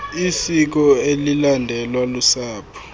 isiko elilandelwa lusapho